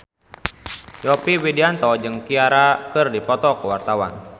Yovie Widianto jeung Ciara keur dipoto ku wartawan